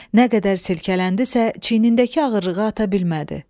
Nə qədər silkələndisə, çiynindəki ağırlığı ata bilmədi.